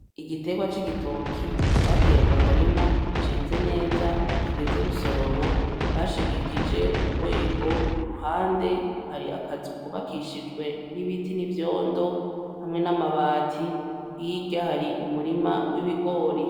Igiterwa c'igitoki bateye mumurima ceze neza kigeze gusoromwa bashigikije urwego kuruhande hari akazu kubakishije n'ibiti n'ivyondo hamwe n'abati hirya hari umurima w'ibigori.